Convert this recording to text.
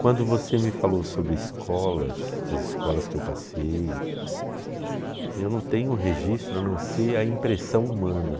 Quando você me falou sobre escolas, as escolas que eu passei, eu não tenho registro a não ser a impressão humana.